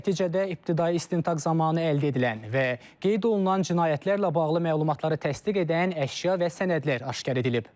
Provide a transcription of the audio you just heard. Nəticədə ibtidai istintaq zamanı əldə edilən və qeyd olunan cinayətlərlə bağlı məlumatları təsdiq edən əşya və sənədlər aşkar edilib.